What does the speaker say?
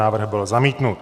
Návrh byl zamítnut.